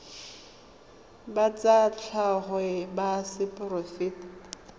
ba tsa tlhago ba seporofe